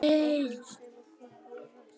Ákvörðun Sólheima kom á óvart